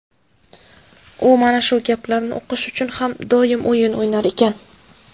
U mana shu gaplarni o‘qish uchun ham doim o‘yin o‘ynar ekan.